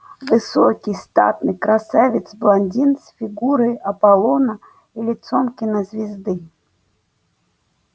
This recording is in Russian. высокий статный красавец-блондин с фигурой аполлона и лицом кинозвезды